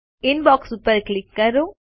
inbox ઉપર click કરો